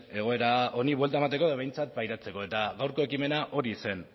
egoera honi buelta emateko edo behintzat pairatzeko eta gaurko ekimena hori zen